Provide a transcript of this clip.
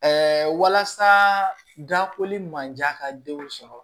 walasa gafe manjan ka denw sɔrɔ